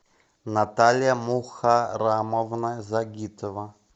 наталья мухарамовна загитова